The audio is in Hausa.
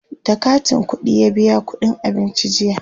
da katin ƙuɗiya biya ƙuɗin abincin jiya